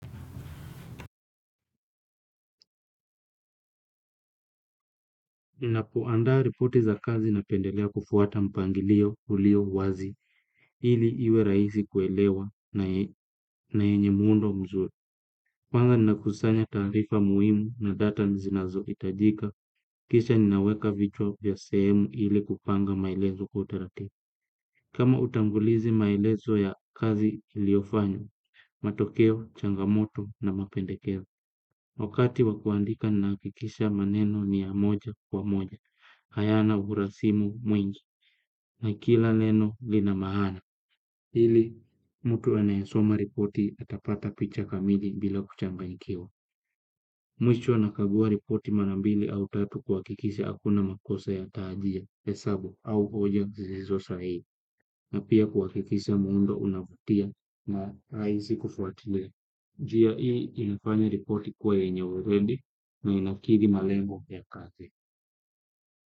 Napoandaa ripoti za kazi napendelea kufuata mpangilio ulio wazi ili iwe raisi kuelewa na yenye muundo mzuri. Panga ninakosanya taarifa muhimu na data zinazoitajika kisha ninaweka vichwa vya sehemu ili kupanga maelezo kwa utaratibu. Kama utangulizi maelezo ya kazi iliofanywa, matokeo, changamoto na mapendekezo. Wakati wa kuandika naakikisha maneno ni ya moja kwa moja, hayana urasimu mwingi na kila leno lina mahana. Hili, mtu anayesoma ripoti atapata picha kamili bila kuchanganyikiwa. Mwisho nakagua ripoti mara mbili au tatu kuakikisha hakuna makosa ya taajia, hesabu au hoja zizizo sahii. Na pia kuakikisha muundo unavutia na raisi kufuatilia. Njia hii ilifanya ripoti kuwa yenye uredi na inakidhi malengo ya kazi.